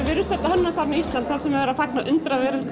við erum stödd á hönnunarsafni Íslands þar sem er verið að fagna undraveröld